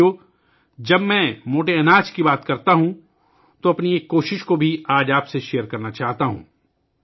ساتھیو ، جب میں موٹے اناج کی بات کرتا ہوں تو میں آج اپنی ایک کوشش کو بھی آپ کے ساتھ شیئر کرنا چاہتا ہوں